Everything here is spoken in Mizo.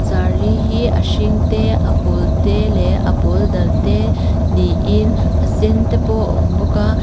saree hi a hring te a pawl te leh a pawl dal te niin a sen te pawh awm bawk a.